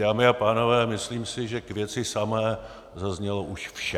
Dámy a pánové, myslím si, že k věci samé zaznělo už vše.